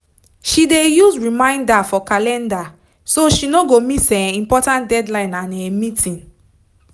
she dey use reminder for calender so she no go miss um important deadline and um meeting